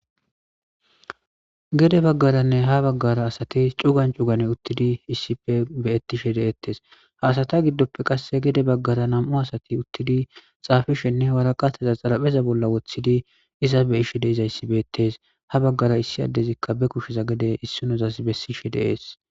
gede baggaranne ha baggara asati cugan cugane uttidi issipe beyettishe deettes haasata giddoppe qasse gede baggara nam7u asati uttidi xaafishenne waraqataza xarapheza bolla woththidi iza be ishe deizayssi beettes ha baggara issi addezikka be kusheza gede issinozas bessishe deees.